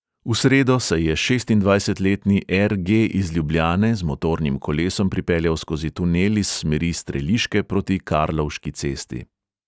V sredo se je šestindvajsetletni er| ge| iz ljubljane z motornim kolesom pripeljal skozi tunel iz smeri streliške proti karlovški cesti.